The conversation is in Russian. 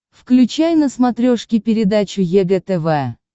включай на смотрешке передачу егэ тв